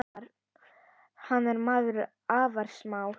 Hann er maður afar smár.